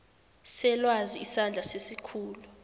selwazi isandla sesikhulu